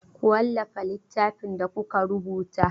Ku wallafa littafin da kuka rubuta!